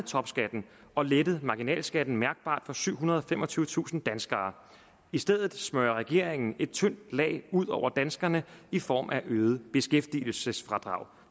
topskatten og lettet marginalskatten mærkbart for syvhundrede og femogtyvetusind danskere i stedet smører regeringen et tyndt lag ud over danskerne i form af øget beskæftigelsesfradrag